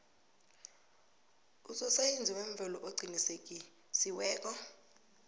usosayensi wemvelo oqinisekisiweko